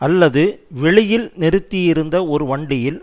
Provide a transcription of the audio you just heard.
அல்லது வெளியில் நிறுத்தியிருந்த ஒரு வண்டியில்